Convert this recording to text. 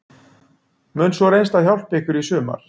Mun sú reynsla hjálpa ykkur í sumar?